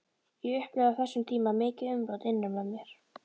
Ég upplifði á þessum tíma mikið umrót innra með mér.